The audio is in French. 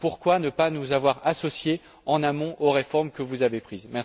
Pourquoi ne pas nous avoir associés en amont aux réformes que vous avez prises?